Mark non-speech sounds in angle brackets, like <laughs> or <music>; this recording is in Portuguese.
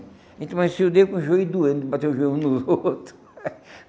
A gente amanhecia o dia com o joelho doendo, <laughs> de bater o joelho um no outro.